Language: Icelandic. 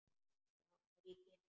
Já, ef ég get.